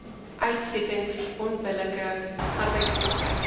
uitsettings onbillike arbeidspraktyke